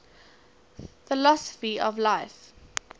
philosophy of life